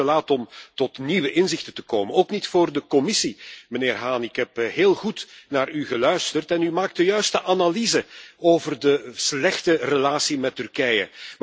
Het is nooit te laat om tot nieuwe inzichten te komen, ook niet voor de Commissie, mijnheer Hahn. Ik heb heel goed naar u geluisterd en u maakt de juiste analyse over de slechte relatie met Turkije.